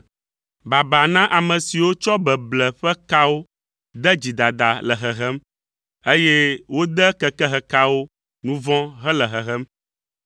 Baba na ame siwo tsɔ beble ƒe kawo de dzidada le hehem, eye wode kekehekawo nu vɔ̃ hele hehem,